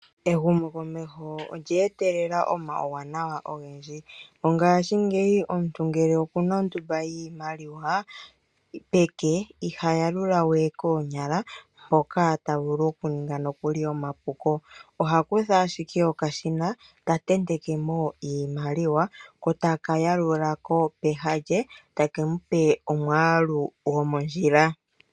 Ehumo komesho olya etelela omauwanawa ogendji, ngashingeyi omuntu ngele ondumba yimaliwa peke iha yalulawe konyala hoka tavulu nokuli okuninga omapuko oha kutha ashike okashina ta tentekemo iimaliwa ko taka yalulako peha lye eta kemupe omwalu gomondjila.